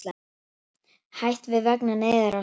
Hætt við vegna neyðarástands